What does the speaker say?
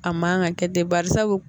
A man ka kɛ ten barisa